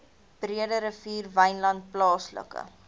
breederivier wynland plaaslike